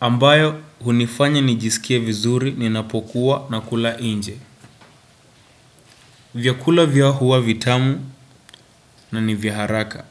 Ambayo hunifanya nijisikie vizuri ninapokuwa na kula nje. Vyakula vyao huwa vitamu na ni vya haraka.